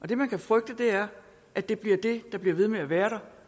det man kan frygte er at det bliver det der bliver ved med at være der